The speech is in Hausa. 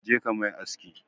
Je ka mai aski!